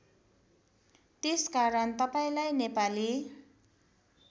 त्यसकारण तपाईँलाई नेपाली